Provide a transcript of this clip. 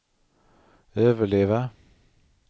överleva